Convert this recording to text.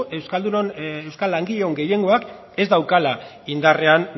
euskal langileen gehiengoak ez daukala indarrean